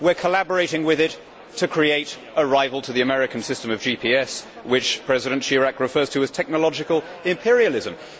and we are collaborating with it to create a rival to the American system of GPS, which President Chirac refers to as technological imperialism'.